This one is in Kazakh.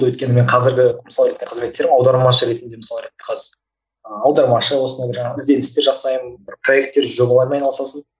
өйткені мен қазіргі аудармашы ретінде мысалы ыыы аудармашы осылай жаңағы ізденістер жасаймын бір проектер жобалармен айналысасың